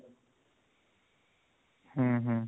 ହୁଁ ହୁଁ